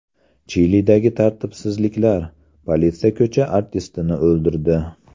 Chilidagi tartibsizliklar: politsiya ko‘cha artistini o‘ldirdi.